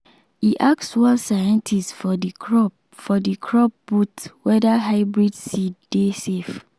e ask one scientist for the crop for the crop booth whether hybrid seed dey safe.